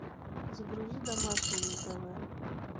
загрузи домашний на тв